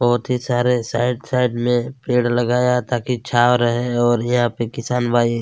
बहुत ही सारे साइड साइड में पेड़ लगाया ताकि छांव रहै और यहाँ पे किसान भाई --